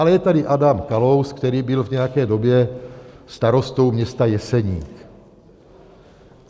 Ale je tady Adam Kalous, který byl v nějaké době starostou města Jeseník.